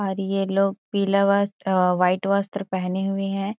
और ये लोग पीला वस्त्र वाइट वस्त्र पहने हुए हैं।